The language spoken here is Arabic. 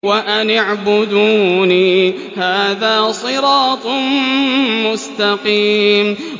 وَأَنِ اعْبُدُونِي ۚ هَٰذَا صِرَاطٌ مُّسْتَقِيمٌ